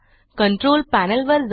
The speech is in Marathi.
कंट्रोल पॅनेल वर जा